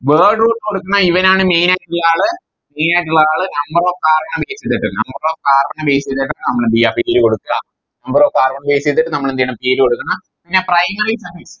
Word root കൊടുക്കുന്ന ഇവനാണ് Main ആയിട്ടുള്ള ആള് Main ആയിട്ടുള്ള ആള് Number of carbon നെ Base ചെയ്തിട്ട് Number of carbon നെ Base ചെയ്തിട്ട് നമ്മളെന്ത്യയാ പേര് കൊടുക്ക Number of carbon നെ Base ചെയ്തിട്ട് നമ്മളെന്തെയ്യണം പേര് കൊടുക്കണം പിന്നെ Primary suffix